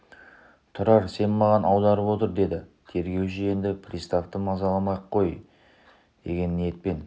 тұрар сен маған аударып отыр деді тергеуші енді приставты мазаламай-ақ қояйын деген ниетпен